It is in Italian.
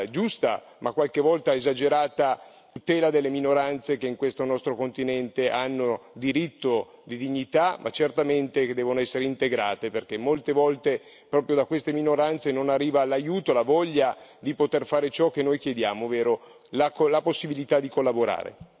giusta, ma qualche volta esagerata, tutela delle minoranze che in questo nostro continente hanno diritto di dignità, ma certamente devono essere integrate, perché molte volte proprio da queste minoranze non arriva l'aiuto, la voglia di poter fare ciò che noi chiediamo, ovvero la possibilità di collaborare.